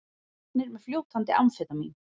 Teknir með fljótandi amfetamín